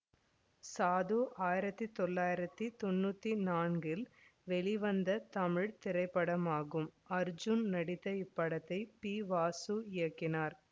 சாது ஆயிரத்தி தொள்ளாயிரத்தி தொன்னூற்தி நான்கில் வெளிவந்த தமிழ் திரைப்படமாகும் அர்ஜூன் நடித்த இப்படத்தை பி வாசு இயக்கினார்